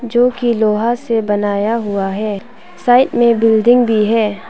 जो की लोहा से बनाया हुआ है साइड में बिल्डिंग भी है।